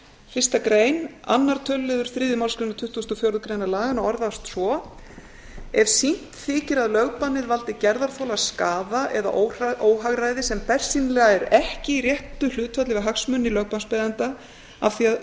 fyrsta grein annar töluliður þriðju málsgreinar tuttugustu og fjórðu greinar laganna orðast svo ef sýnt þykir að lögbannið valdi gerðarþola skaða eða óhagræði sem bersýnilega er ekki í réttu hlutfalli við hagsmuni lögbannsbeiðanda af því að